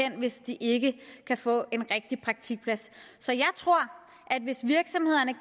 i hvis de ikke kan få en rigtig praktikplads så jeg tror at hvis virksomhederne